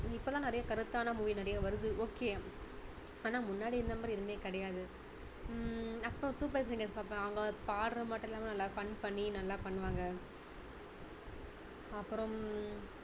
இப்போ எல்லாம் நிறைய கருத்தான movie நிறைய வருது okay ஆனா முன்னாடி இருந்த மாதிரி எதுவுமே கிடையாது ஹம் அப்பறம் super singer பாப்பேன் அவங்க பாடுறது மட்டும் இல்லாம நல்லா fun பண்ணி நல்லா பண்ணுவாங்க அப்பறம்